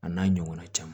A n'a ɲɔgɔnna caman